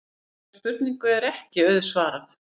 Þessari spurningu er ekki auðsvarað.